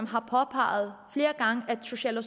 har påpeget at social og